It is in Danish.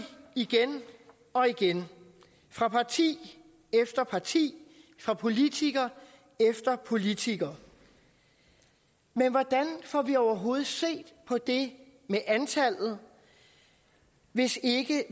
igen og igen fra parti efter parti fra politiker efter politiker men hvordan får vi overhovedet set på det med antallet hvis